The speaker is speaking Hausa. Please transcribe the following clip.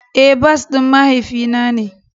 Eh, bas din mahaifi na ne.